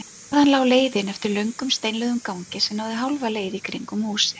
Þaðan lá leiðin eftir löngum steinlögðum gangi sem náði hálfa leið í kringum húsið.